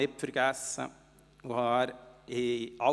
Ich vergass es dann aber nicht.